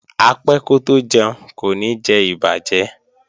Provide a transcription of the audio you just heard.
Apẹ́ kótó jẹun kò ní jẹ ìbàjẹ́